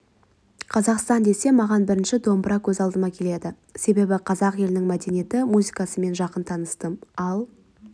қазақстан десе маған бірінші домбыра көз алдыма келеді себебі қазақ елінің мәдениеті музыкасымен жақын таныстым ал